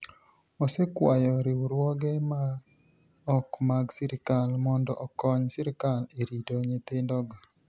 Osekwayo riwruoge ma ok mag sirkal monido okoniy sirkal e rito niyithinidogo.